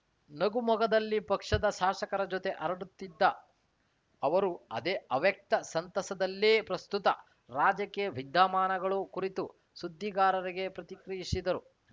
ನಗು ಮೊಗದಲ್ಲಿ ಪಕ್ಷದ ಶಾಸಕರ ಜತೆ ಹರಟುತ್ತಿದ್ದ ಅವರು ಅದೇ ಅವ್ಯಕ್ತ ಸಂತಸದಲ್ಲೇ ಪ್ರಸುತ್ತ ರಾಜಕೀಯ ವಿದ್ಯಮಾನಗಳು ಕುರಿತು ಸುದ್ದಿಗಾರರಿಗೆ ಪ್ರತಿಕ್ರಿಯಿಸಿದರು